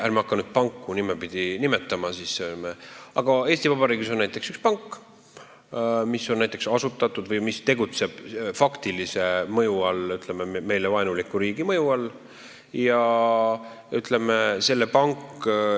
Ärme hakkame nüüd nimepidi nimetama, aga Eesti Vabariigis on näiteks üks pank, mis on asutatud või mis tegutseb faktilise, ütleme, meile vaenuliku riigi mõju all.